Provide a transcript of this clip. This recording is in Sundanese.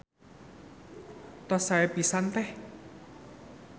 Tos sae pisan Teh.